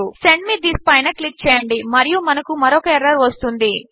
send me this పైన click చేయండి మరియు మనకు మరొక ఎర్రర్ వస్తుంది